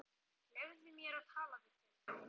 Leyfðu mér að tala við þig!